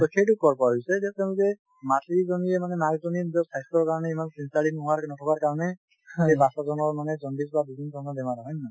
সেইটো কৰ পৰা হৈছে যে তেওঁ যে মাতৃ জনীয়ে মানে মাক জনীয়ে নিজৰ স্বাস্থ্যৰ কাৰণে ইমান নথকাৰ কাৰণে সেই বাচ্ছা জনৰ মানে জণ্ডিছ বা বিভিন্ন ধৰণৰ বেমাৰ হয়, হয় নে নহয়?